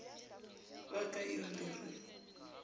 wa ka eo le re